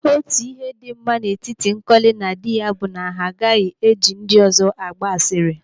Otu ihe dị mma n'etiti Nkọli na dị ya bụ na ha agaghị eji ndị ọzọ agba asịrị.